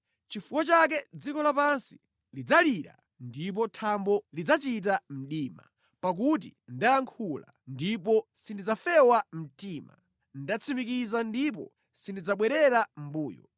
Chifukwa chake dziko lapansi lidzalira ndipo thambo lidzachita mdima, pakuti ndayankhula ndipo sindidzafewa mtima, ndatsimikiza ndipo sindidzabwerera mʼmbuyo.”